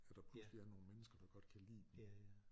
At der pludselig er nogle mennesker der godt kan lide dem